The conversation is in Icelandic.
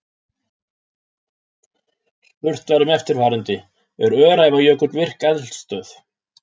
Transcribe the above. Spurt var um eftirfarandi: Er Öræfajökull virk eldstöð?